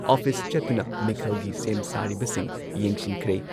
office ꯆꯠꯇꯨꯅ ꯃꯤꯈꯜꯒꯤ ꯁꯦꯝ ꯁꯥꯔꯤꯕꯁꯤꯡ ꯌꯦꯡꯁꯤꯟꯈ꯭ꯔꯦ